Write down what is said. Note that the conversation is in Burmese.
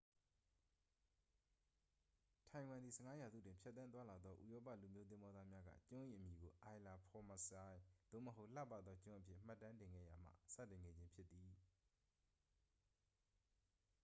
ထိုင်ဝမ်သည် 15 ရာစုတွင် ဖြတ်သန်းသွားလာသောဥရောပလူမျိုးသင်္ဘောသားများက ကျွန်း၏အမည်ကို ilha formosa သို့မဟုတ် လှပသောကျွန်းအဖြစ် မှတ်တမ်းတင်ခဲ့ရာမှ စတင်ခဲ့ခြင်းဖြစ်သည်